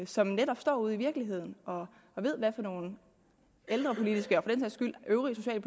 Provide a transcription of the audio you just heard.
som netop står ude i virkeligheden og ved hvad for nogle ældrepolitiske og skyld øvrige